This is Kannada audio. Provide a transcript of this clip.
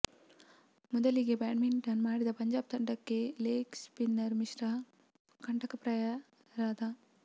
ಮೊದಲಿಗೆ ಬ್ಯಾಟಿಂಗ್ ಮಾಡಿದ ಪಂಜಾಬ್ ತಂಡಕ್ಕೆ ಲೆಗ್ ಸ್ಪಿನ್ನರ್ ಮಿಶ್ರಾ ಕಂಟಕಪ್ರಾಯರಾದ